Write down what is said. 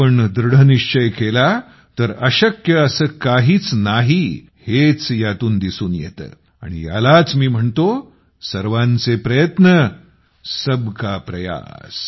आपण दृढनिश्चय केला तर अशक्य असे काहीच नाही हेच यातून दिसून येते आणि यालाच मी म्हणतो सर्वांचे प्रयत्न सबका प्रयास